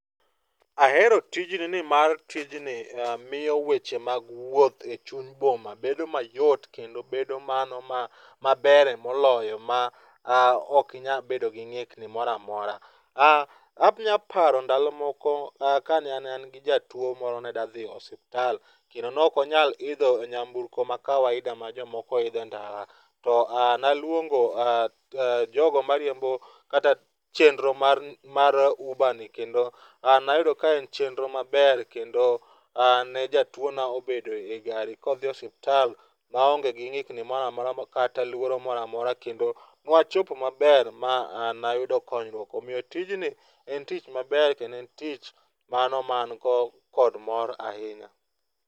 Ahero tijni nimar tijni miyo weche mag wuoth e chuny boma bedo mayot kendo bedo mano ma maber emoloyo ma ok inya bedo gi ng'ikni moramora. A anyalo paro ndalo moko kane an gi jatuo moro ne da dhi e osiptal kendo nok onyal idho nyamburko ma kawaida ma jomoko idhe ndara. To a naluongo a jogo mariembo chenro mar mar uber ni kendo an nayudo ka en chenro maber kendo ne jatuo na obedo e gari kodhi e osiptal maonge gi ng'ikni moramora kata luoro moramora kendo nwachopo maber ma nayudo konyruok .Omiyo tijni en tich maber kendo en tich mano man ko kod mor ahinya.